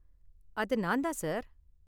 அது நான் தான், சார்.